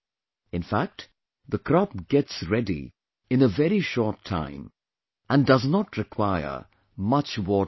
In fact, the crop gets ready in a very short time, and does not require much water either